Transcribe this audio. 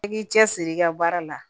I k'i cɛsiri i ka baara la